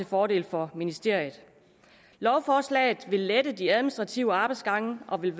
fordel for ministeriet lovforslaget vil lette de administrative arbejdsgange og vil